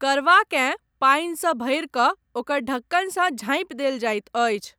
करवाकेँ पानि सँ भरि कऽ ओकर ढक्कनसँ झाँपि देल जाइत अछि।